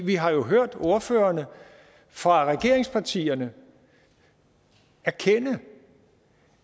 vi har jo hørt ordførerne fra regeringspartierne erkende